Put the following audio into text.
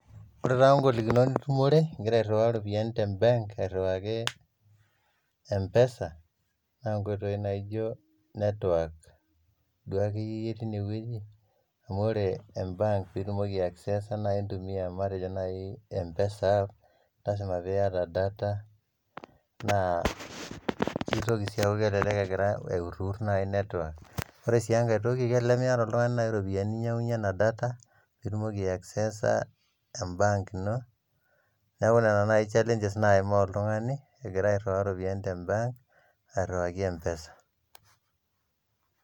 Ore taa ingplokinot nitumore igira airr'waa iropiyiani te mbank airuaki mpesa naa nkoitoii naaijo network duo ake iyie teine weji amu ore embaank piitumoki aiakseesa naai matejo naai mpesa app naa lasima pieta data naaa keitoki sii aaku kelelek egira aikurkur nai network, orensii enkae toki kelelek imietaa nai oltungani iropiyiani ninyang]unye ena data piitumoki aiekseesa embaank ino, neaku nena nai challenges naimaa oltungani egira airuaya iropiyiani te mbaank airuaki mpesa